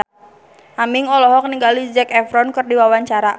Aming olohok ningali Zac Efron keur diwawancara